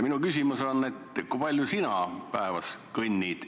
Minu küsimus on, kui palju sina päevas kõnnid.